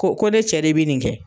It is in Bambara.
Ko ko ne cɛ de bɛ nin kɛ.